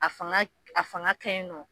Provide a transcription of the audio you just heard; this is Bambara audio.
A fanga a fanga ka ɲi nɔ